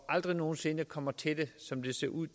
aldrig nogen sinde kommer til det som det ser ud